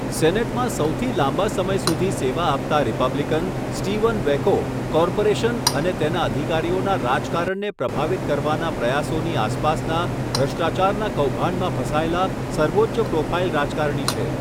સેનેટમાં સૌથી લાંબા સમય સુધી સેવા આપતા રિપબ્લિકન, સ્ટીવન વેકો કોર્પોરેશન અને તેના અધિકારીઓના રાજકારણને પ્રભાવિત કરવાના પ્રયાસોની આસપાસના ભ્રષ્ટાચારના કૌભાંડમાં ફસાયેલા સર્વોચ્ચ પ્રોફાઇલ રાજકારણી છે.